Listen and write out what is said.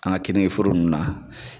An ka keningeforo ninnu na